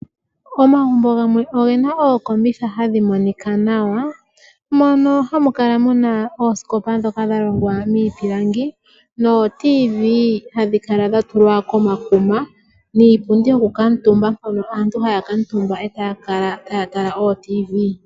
Omagumbo gamwe oge na ookombitha hadhi monika nawa mono hamu kala muna oosikopa dhoka dha longwa miipilangi nooradio dhomuzizimbe hadhi kala dha tulwa komakuma niipundi yokukutumba hono aantu haya kuutumba etaya kala taya tala ooradio dhomizizimbe.